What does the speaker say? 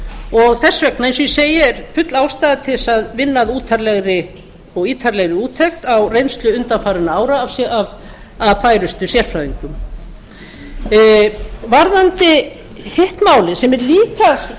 og þess vegna eins og ég segi er full ástæða til þess að vinna að ítarlegri úttekt á reynslu undanfarinna ára af færustu sérfræðingum varðandi hitt málið sem er líka